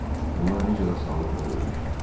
Onlar necə də asanlıqla ölmüşdülər.